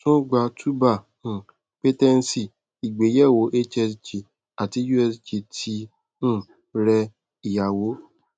tún gba tubal um patency ìgbéyẹ̀wò hsg àti usg ti um rẹ ìyàwó